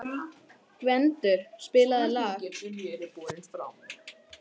Gvendur, spilaðu lag.